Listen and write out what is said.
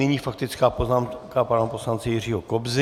Nyní faktická poznámka pana poslance Jiřího Kobzy.